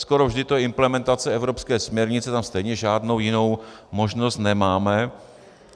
Skoro vždy je to implementace evropské směrnice, tam stejně žádnou jinou možnost nemáme.